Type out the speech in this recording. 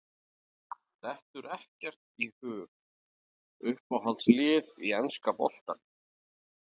Dettur ekkert í hug Uppáhalds lið í enska boltanum?